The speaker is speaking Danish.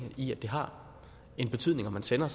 i at det har en betydning om man sender